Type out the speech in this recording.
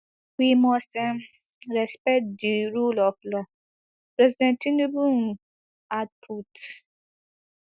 we must um respect di rule of law president tinubu um add put